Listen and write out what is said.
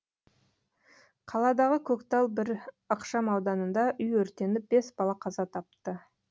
қаладағы көктал бес ықшам ауданында үй өртеніп бес бала қаза тапты